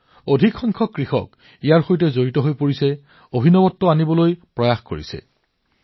বৃহৎ সংখ্যক কৃষক ইয়াত জড়িত হৈছে উদ্ভাৱন কৰি আছে